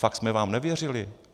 Fakt jsme vám nevěřili.